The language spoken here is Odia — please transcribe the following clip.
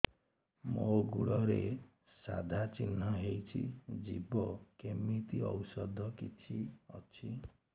ମୋ ଗୁଡ଼ରେ ସାଧା ଚିହ୍ନ ହେଇଚି ଯିବ କେମିତି ଔଷଧ କିଛି ଅଛି